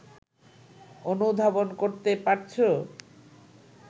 অনুধাবন করতে পারছো